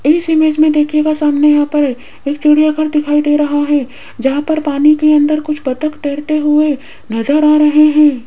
इस इमेज मे देखियेगा सामने यहाँ पर एक चिड़ियाघर दिखाई दे रहा है जहां पर पानी के अंदर कुछ बत्तख तैरते हुए नजर आ रहे हैं।